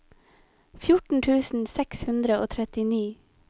fjorten tusen seks hundre og trettini